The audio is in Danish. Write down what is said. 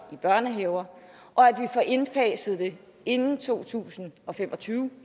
i børnehaver og at vi får indfaset det inden to tusind og fem og tyve